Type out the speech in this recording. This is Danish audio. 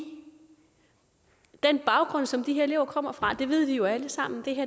den baggrund som de her elever kommer fra det ved vi jo alle sammen